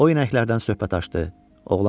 O inəklərdən söhbət açdı.